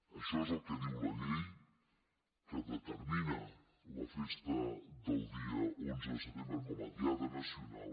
això és el que diu la llei que determina la festa del dia onze de setembre com a diada nacional